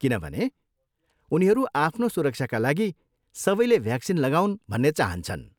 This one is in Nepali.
किनभने उनीहरू आफ्नो सुरक्षाका लागि सबैले भ्याक्सिन लगाउन् भन्ने चाहन्छन्।